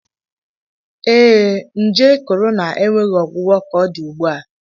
Ee e, nje Corona enweghị ọgwụgwọ ka ọ dị ugbu a.